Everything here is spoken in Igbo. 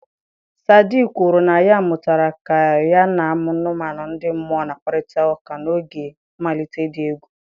Sadi kwuru na ya mụtara ka ya na anụmanụ ndị mmụọ na-akpakọrịta n'oge mmalite dị egwu.